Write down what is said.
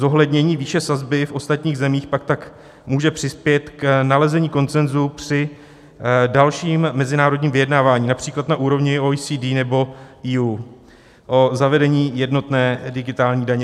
Zohlednění výše sazby v ostatních zemích pak tak může přispět k nalezení konsenzu při dalším mezinárodním vyjednávání, například na úrovni OECD nebo EU, o zavedení jednotné digitální daně.